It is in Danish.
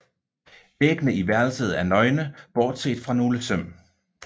Væggene i værelset er nøgne bortset fra nogle søm